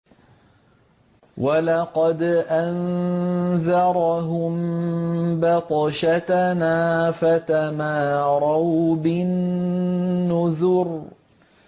وَلَقَدْ أَنذَرَهُم بَطْشَتَنَا فَتَمَارَوْا بِالنُّذُرِ